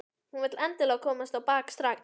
Hún vill endilega komast á bak strax.